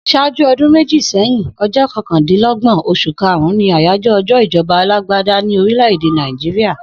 S̩áájú o̩dún méjì sé̩yìn, o̩j́ó̩ ko̩kàndínló̩gbò̩n, os̩ù karùn-ún ni àyájó̩ o̩jó̩ ìjo̩ba alágbádá ní orílè̩ èdè Naijiria